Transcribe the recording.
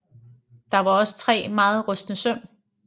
Der var også tre meget rustne søm